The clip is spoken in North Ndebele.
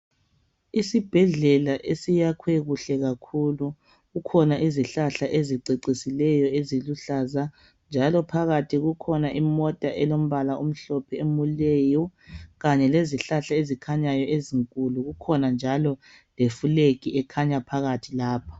Isibhedlela esiyakhwe kuhle kakhulu. Kukhona izihlahla ezicecisileyo eziluhlaza, njalo phakathi kukhona imota elombala omhlophe emileyo, kanye lezihlahla ezikhanyayo ezinkulu. Kukhona njalo leflag ekhanya phakathi lapha.